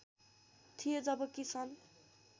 थिए जबकि सन्